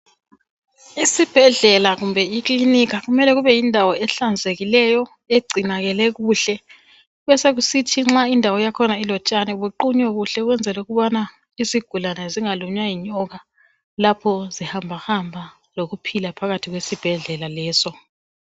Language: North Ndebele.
Isibhedlela kumbe ikilinika kumele kube yindawo ehlanzekileyo egcinakele kuhle besokusithi nxa indawo yakhona ilotshani buqunywe kuhle ukwenzela ukubana izigulane zingalunywa yinyoka lapho zihambahamba lokuphila phakathi kwesibhedlela leso.